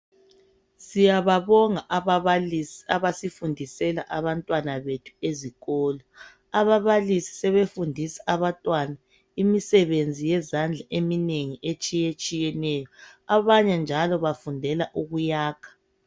Siyababonga ababalisi abasifundisela abantwana bethu ezikolo. Ababalisi sebefundisa abantwana imisebenzi yezandla eminengi etshiyetshiyeneyo. Abanye njalo bafundela ukuyakha.